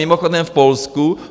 Mimochodem v Polsku